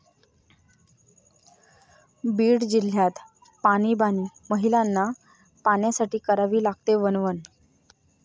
बीड जिल्ह्यात पाणीबाणी, महिलांना पाण्यासाठी करावी लागते वणवण